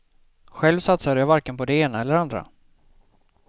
Själv satsade jag varken på det ena eller det andra.